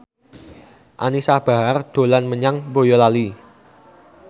Anisa Bahar dolan menyang Boyolali